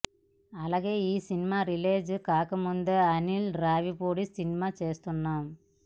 అలాగే ఈ cinema release కాకముందే అనిల్ రావిపూడి సినిమా చేస్తున్నాం